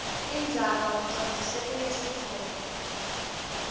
indzaba ucondzise kulesitfombe